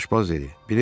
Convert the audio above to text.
Aşpaz dedi: